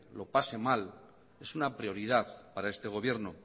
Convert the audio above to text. lo pase mal es una prioridad para este gobierno